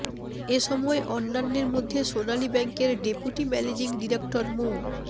এসময় অন্যান্যের মধ্যে সোনালী ব্যাংকের ডেপুটি ম্যানেজিং ডিরেক্টর মো